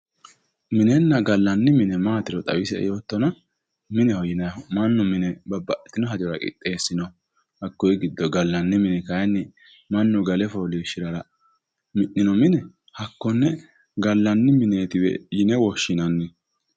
Minenna gallanni mine maatiro xawisi yoottona, mineho yinayiihu babbaxitwo hajora qixxeessinoonniho. Hakkuyi giddo gallanni mini kaayiinni mannu gale fooliishshirara mi'nino mine hakkonne gallanni mineetiwe yine woshshinanni.